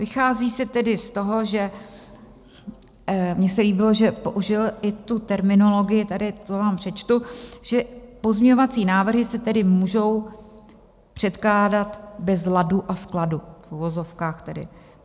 Vychází se tedy z toho, že mně se líbilo, že použil i tu terminologii, tady to vám přečtu, že "pozměňovací návrhy se tedy můžou předkládat bez ladu a skladu", v uvozovkách tedy.